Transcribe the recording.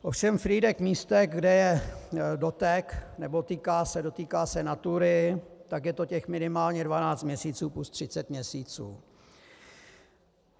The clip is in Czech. Ovšem Frýdek-Místek, kde je dotek, nebo dotýká se Natury, tak je to těch minimálně 12 měsíců plus 30 měsíců.